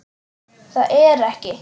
Það er ekki.